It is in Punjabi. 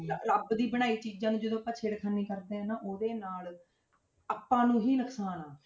ਰ~ ਰੱਬ ਦੀ ਬਣਾਈ ਚੀਜ਼ਾਂ ਨੂੰ ਜਦੋਂ ਛੇੜਖਾਨੀ ਕਰਦੇ ਹਾਂ ਨਾ ਉਹਦੇ ਨਾਲ ਆਪਾਂ ਨੂੰ ਹੀ ਨੁਕਸਾਨ ਆ।